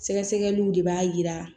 Sɛgɛsɛgɛliw de b'a yira